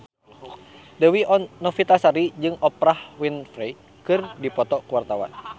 Dewi Novitasari jeung Oprah Winfrey keur dipoto ku wartawan